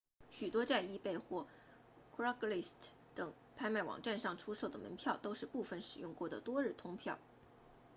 许多在 ebay 或 craigslist 等拍卖网站上出售的门票都是部分使用过的多日通票